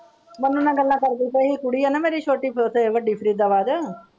ਮੰਨੂ ਨਾਲ ਗੱਲਾਂ ਕਰਦੀ ਪਈ ਸੀ ਕੁੜੀ ਹੈ ਨਾ ਮੇਰੀ ਛੋਟੀ ਤੇ ਵੱਡੀ ਫ਼ਰੀਦਾਬਾਦ।